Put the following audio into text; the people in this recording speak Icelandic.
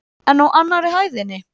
En á annarri hæðinni?